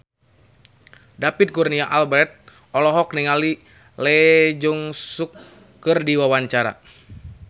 David Kurnia Albert olohok ningali Lee Jeong Suk keur diwawancara